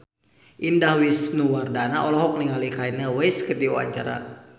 Indah Wisnuwardana olohok ningali Kanye West keur diwawancara